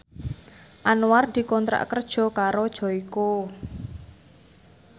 Anwar dikontrak kerja karo Joyko